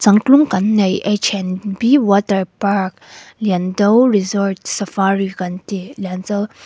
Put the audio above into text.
changtlung kan neih h and b waterpark liando resort safari kan tih liando--